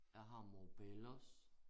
Jeg har mobillos